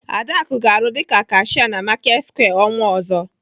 Adaku ga-arụ dịka kashia na Marketsquare ọnwa ọzọ.